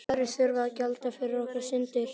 Og aðrir þurfa að gjalda fyrir okkar syndir.